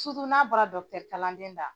n'a bɔra dɔkitɛri kalanden da.